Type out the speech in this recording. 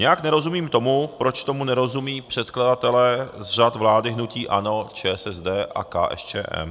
Nějak nerozumím tomu, proč tomu nerozumějí předkladatelé z řad vlády hnutí ANO, ČSSD a KSČM.